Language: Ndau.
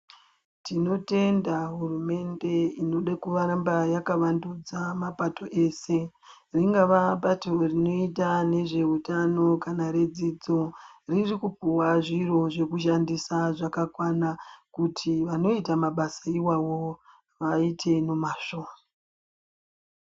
Tinotenda hurumende inode kuramba yakavandudza mapato ese ringava bato rinoita nezveutano kana redzidzo ririkupawa zviri zvekushandisa zvakakwana kuti vanoita mabasa iwawo vaite nemazvo.